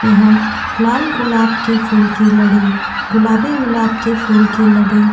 यहाँ लाल गुलाब के फूल की लड़ी गुलाबी गुलाब के फूल की लड़ी --